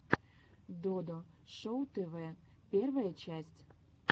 додо шоу тв первая часть